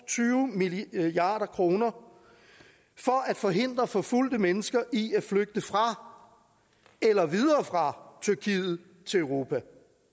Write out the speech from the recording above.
tyve milliard kroner for at forhindre forfulgte mennesker i at flygte fra eller videre fra tyrkiet til europa